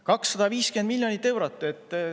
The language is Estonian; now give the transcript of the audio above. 250 miljonit eurot!